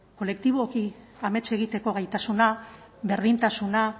kolektiboki amets egiteko gaitasuna berdintasuna